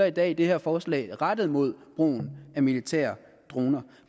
i dag det her forslag rettet mod brugen af militære droner